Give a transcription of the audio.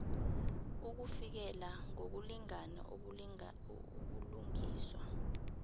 ukufikelela ngokulingana ubulungiswa